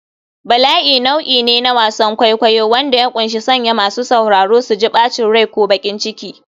Bala'i nau'i ne na wasan kwaikwayo wanda ya ƙunshi sanya masu sauraro su ji bacin rai ko baƙin ciki.